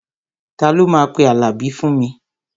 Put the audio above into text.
Ta ló máa pe Àlàbí fún mi?